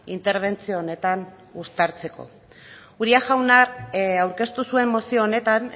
interbentzio honetan uztartzeko uria jaunak aurkeztu zuen mozio honetan